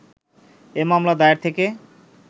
এ মামলা দায়ের থেকে